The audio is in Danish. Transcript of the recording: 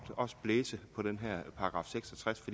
blæse på den her § seks og tres